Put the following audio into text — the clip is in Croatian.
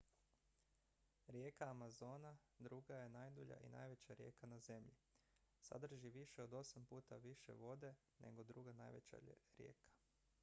rijeka amazona druga je najdulja i najveća rijeka na zemlji sadrži više od 8 puta više vode nego druga najveća rijeka